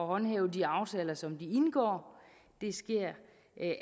håndhæve de aftaler som de indgår det sker